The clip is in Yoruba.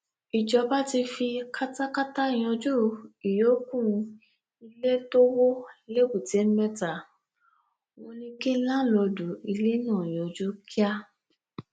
ìjọba ti fi katakata yanjú ìyókù ilé tó wọ lẹbùtémetta wọn ní kí láńlọọdù ilé náà yọjú kíá